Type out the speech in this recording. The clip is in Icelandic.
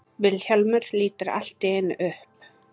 Vilhjálmur lítur allt í einu upp.